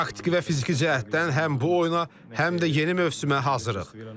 Taktiki və fiziki cəhətdən həm bu oyuna, həm də yeni mövsümə hazırıq.